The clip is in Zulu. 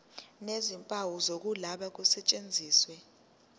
nezimpawu zokuloba kusetshenziswe